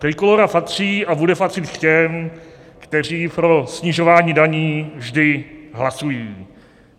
Trikolóra patří a bude patřit k těm, kteří pro snižování daní vždy hlasují.